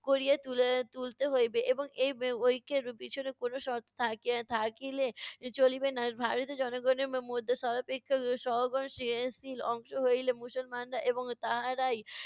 করিয়া তুলা~ তুলতে হইবে এবং এই ঐক্যের পেছনে কোনো শর্ত থাকি~ থাকিলে চলিবে না। ভারতে জনগনের মধ্যে সর্বাপেক্ষা সহনশীল অংশ হইলো মুসলমানরা এবং তাহারাই